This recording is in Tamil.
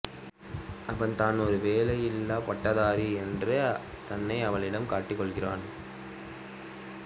அவன் தான் ஒரு வேலையற்ற பட்டதாரி என்று தன்னை அவளிடம் காட்டிக்கொள்கிறான்